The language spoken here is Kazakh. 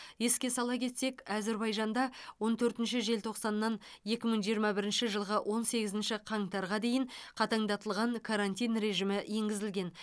еске сала кетсек әзербайжанда он төртінші желтоқсаннан екі мың жиырма бірінші жылғы он сегізінші қаңтарға дейін қатаңдатылған карантин режимі енгізілген